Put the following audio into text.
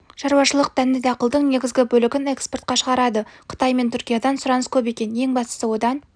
шаруашылық дәнді дақылдың негізгі бөлігін экспортқа шығарады қытай мен түркиядан сұраныс көп екен ең бастысы одан